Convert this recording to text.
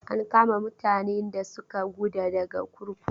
An kama mutanen da suka guda daga kurkuku.